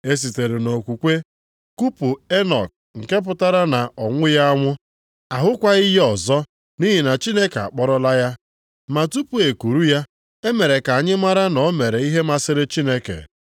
E sitere nʼokwukwe kupu Enọk nke pụtara na ọ nwụghị anwụ, a hụkwaghị ya ọzọ nʼihi na Chineke akpọrọla ya. + 11:5 \+xt Jen 5:24\+xt* Ma tupu e kuru ya, e mere ka anyị mara na ọ mere ihe masịrị Chineke.